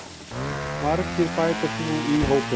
Margir bætast nú í hópinn